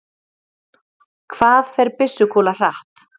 Hvað fer byssukúla hratt?